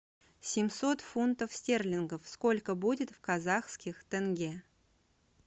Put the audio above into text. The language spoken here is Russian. семьсот фунтов стерлингов сколько будет в казахских тенге